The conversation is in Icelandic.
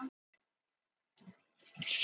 Svona eitthvert sat-við-stjórnvölinn-dæmi.